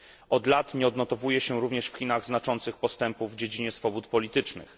Od lat nie odnotowuje się również w Chinach znaczących postępów w dziedzinie swobód politycznych.